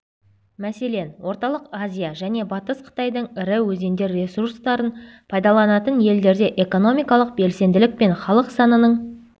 мәселен орталық азия және батыс қытайдың ірі өзендер ресурстарын пайдаланатын елдерде экономикалық белсенділік пен халық санының